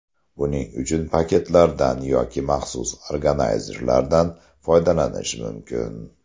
Buning uchun paketlardan yoki maxsus organayzerlardan foydalanish mumkin.